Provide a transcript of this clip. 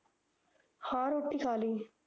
ਹਾਂ ਰੋਟੀ ਖਾ ਲੀ